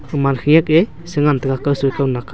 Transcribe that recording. kuman khenak a. se ngan tega kaw soi kaw nak aa.